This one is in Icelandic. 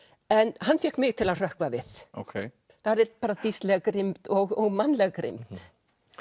en hann fékk mig til að hrökkva við þar er dýrsleg grimmd og mannleg grimmd